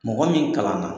Mɔgɔ min kalanna